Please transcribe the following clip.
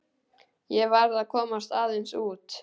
Ég verð að komast aðeins út.